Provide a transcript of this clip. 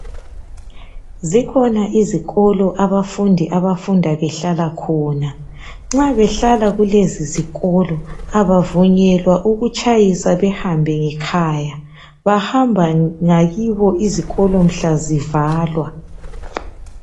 Zikhona izikolo, abafundi, abafunda behlala khona. Nxa behlala kulezizikolo, kabavunyelwa ukutshayisa behambe ngekhaya. Bahamba ngakibo izikolo mhla zivalwa.